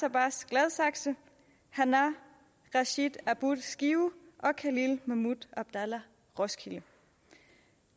abbas gladsaxe hanaa rashid abboud skive khalil mahmoud abdalla roskilde